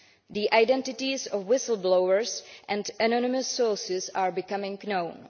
The identities of whistle blowers and anonymous sources are becoming known.